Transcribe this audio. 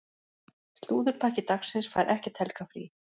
Slúðurpakki dagsins fær ekkert helgarfrí.